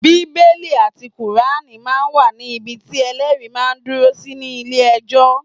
Bíbélì àti Kùránì máa ń wà ní ibi tí Ẹlẹ́rìí máa dúró sí ní ilé ẹjọ́.